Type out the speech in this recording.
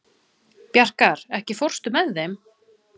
Bjarkar, ekki fórstu með þeim?